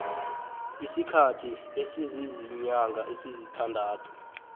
isikhathi esiziinyanga ezisithandathu